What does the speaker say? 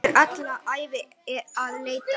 Verður alla ævi að leita.